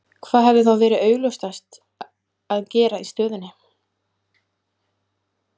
Hvað hefði þá verið augljósast að gera í stöðunni?